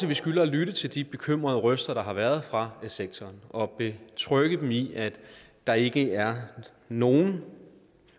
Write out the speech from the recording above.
vi skylder at lytte til de bekymrede røster der har været fra sektoren og betrygge dem i at der ikke er nogen